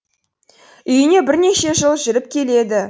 үйіне бірнеше жыл жүріп келеді